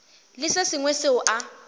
le se sengwe seo a